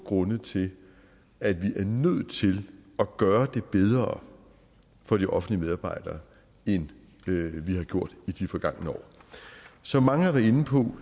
grunde til at vi er nødt til at gøre det bedre for de offentlige medarbejdere end vi har gjort i de forgangne år som mange har været inde på